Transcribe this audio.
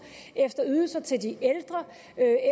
efter ydelser til de ældre